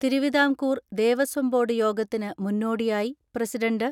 Thiruvithamkoor Devaswom board യോഗത്തിന് മുന്നോടി യായി പ്രസിഡണ്ട്